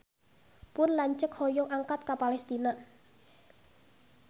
Pun lanceuk hoyong angkat ka Palestina